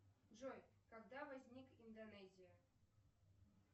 джой когда возник индонезия